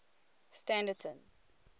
standerton